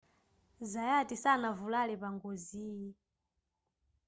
zayati sanavulale pa ngoziyi